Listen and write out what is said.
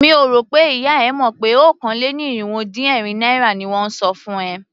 Mi ò rò pé ìyá e mọ̀ pé okòó-lé-ní-irínwó-dín-ẹ̀rin naira ni wón ń san fún ẹ.